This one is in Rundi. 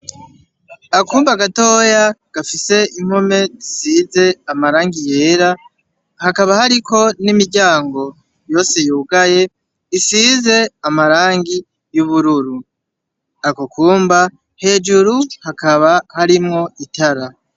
Akumba gatoya gafise impome zisize amarangi yera, hakaba hariko n'imiryongo yose yugaye, isize amarangi y'ubururu. Ako kumba, hejuru hakaba harimwo itara.